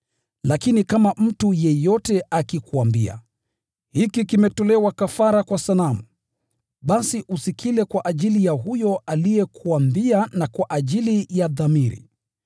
Lakini kama mtu yeyote akikuambia, “Hiki kimetolewa kafara kwa sanamu,” basi usikile kwa ajili ya huyo aliyekuambia na kwa ajili ya dhamiri.